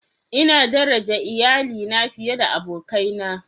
Ina daraja iyalina fiye da abokaina.